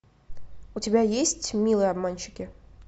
у тебя есть милые обманщицы